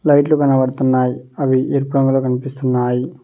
లైట్లు కనపడుతున్నాయ్ అవి ఎరుపు రంగులో కనిపిస్తున్నాయి.